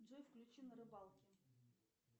джой включи на рыбалке